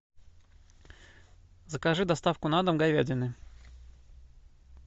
закажи доставку на дом говядины